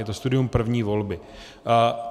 Je to studium první volby.